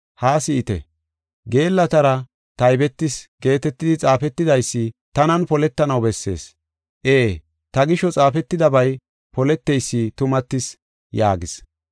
Haa si7ite! ‘Geellatara taybetis’ geetetidi xaafetidaysi tanan poletanaw bessees. Ee, ta gisho xaafetidabay poleteysi tumatis” yaagis.